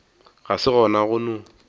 ga se gona go no